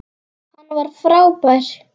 Hann var frábær.